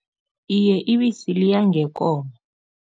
Iye, ibisi liya ngekomo.